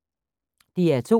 DR2